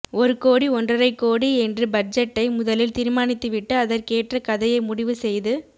ஒரு கோடி ஒன்றரை கோடி என்று பட்ஜெட்டை முதலில் தீர்மானித்துவிட்டு அதற்கேற்ற கதையை முடிவு செய்து